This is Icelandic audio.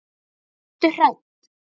Verður hrædd.